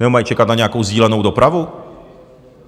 Nebo mají čekat na nějakou sdílenou dopravu?